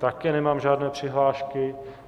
Také nemám žádné přihlášky.